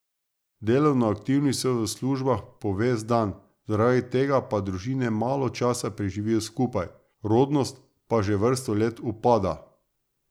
Delovno aktivni so v službah po ves dan, zaradi tega pa družine malo časa preživijo skupaj, rodnost pa že vrsto let upada.